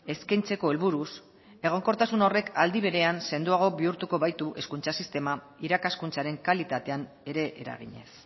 eskaintzeko helburuz egonkortasun horrek aldi berean sendoago bihurtuko baitu hezkuntza sistema irakaskuntzaren kalitatean ere eraginez